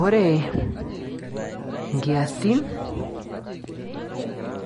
Ore inkiasin